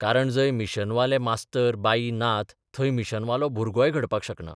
कारण जंय मिशनवाले मास्तर बाई नात थंय मिशनवालो भुरगोय घडपाक शकना.